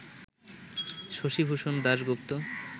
Shashibhushan Dasgupta